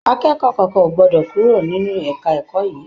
Akẹ́kọ̀ọ́ kankan o gbọdọ kúrò nínú ẹka ẹ̀kọ́ yìí!